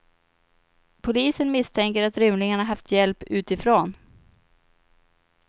Polisen misstänker att rymlingarna haft hjälp utifrån.